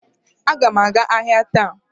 Aga m aga ahịa taa